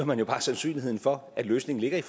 man jo bare sandsynligheden for at løsningen ligger i